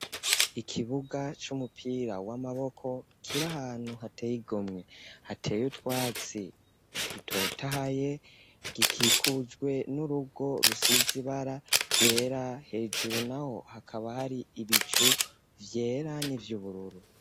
Ikibuga, c'umupira w'amaboko, kiri ahantu, hateye igomwe; hateye utwatsi dutotahaye, gikikujwe n'urugo, rusize ibara ryera; hejuru naho, hakaba hari ibicu, vyera n'ivy'ubururu.